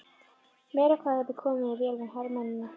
Meira hvað þú hefur komið þér vel við hermennina!